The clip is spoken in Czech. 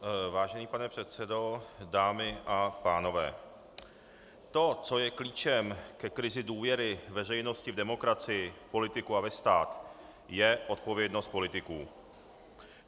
Vážený pane předsedo, dámy a pánové, to, co je klíčem ke krizi důvěry veřejnosti v demokracii, v politiku a ve stát, je odpovědnost politiků.